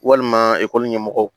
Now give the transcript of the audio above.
Walima ekɔli ɲɛmɔgɔw